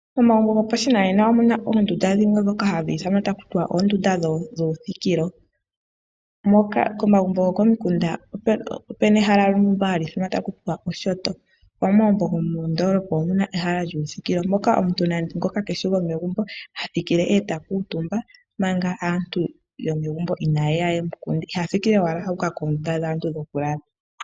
Momagumbo gopashinanena omu na oondunda dhimwe ndhoka hadhi ithanwa taku ti oondunda dhuuthikilo, moka komagumbo gokomikunda oku na ehala ndyoka hali ithanwa kutya oshinyanga, nomomagumbo gomondoolopa omu na ehala lyuuthikilo, moka omuntu ngoka keeshi gomegumbo ha thikile e ta kuutumba, manga aantu yomegumbo inaaye ya ye mu kunde. Iha thikile owala u uka koondunda dhaantu dhokulala.